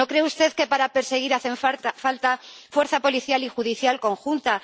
¿No cree usted que para perseguir hace falta una fuerza policial y judicial conjunta?